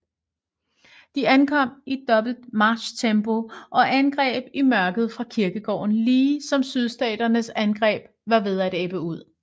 De ankom i dobbelt marchtempo og angreb i mørket fra kirkegården lige som sydstaternes angreb var ved at ebbe ud